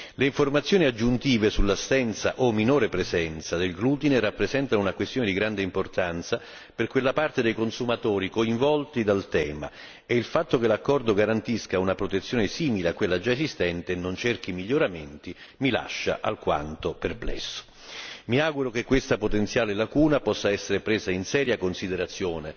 Le informazioni aggiuntive sull'assenza o minore presenza del glutine rappresentano una questione di grande importanza per quella parte dei consumatori coinvolti dal tema e il fatto che l'accordo garantisca una protezione simile a quella già esistente e non cerchi miglioramenti mi lascia al quanto perplesso. Mi auguro che questa potenziale lacuna possa essere presa in seria considerazione